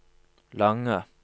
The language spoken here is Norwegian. lange